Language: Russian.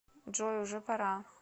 джой уже пора